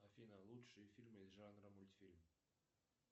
афина лучшие фильмы из жанра мультфильм